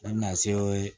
Ne bɛna se